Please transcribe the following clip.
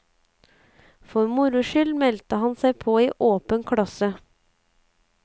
For moro skyld meldte han seg på i åpen klasse.